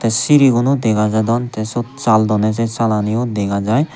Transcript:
tey siriguno dega jadon tey syot sal donney se salaniyo dega jai.